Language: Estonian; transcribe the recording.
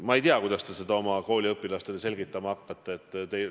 Ma ei tea, kuidas te seda oma kooliõpilastele selgitama hakkate.